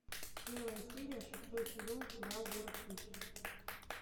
первая серия шестой сезон сериал город хищниц